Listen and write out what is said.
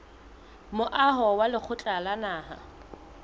moaho wa lekgotla la naha